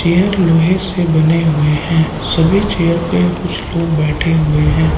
यह लोहे से बने हुए हैं सभी चेयर पे कुछ लोग बैठे हुए हैं।